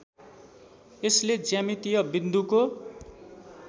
यसले ज्यामितीय बिन्दुको